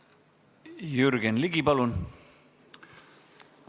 Jürgen Ligi, palun!